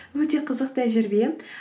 өте қызық тәжірибе